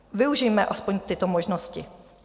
Využijme aspoň tyto možnosti.